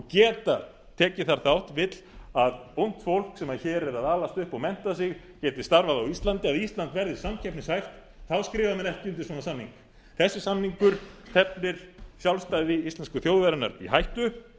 geta tekið þar þátt vill að ungt fólk sem hér er að alast upp og mennta sig geti starfað á íslandi að ísland verði samkeppnishæft þá skrifa menn ekki undir svona samning þessi samningur teflir sjálfstæði íslensku þjóðarinnar í hættu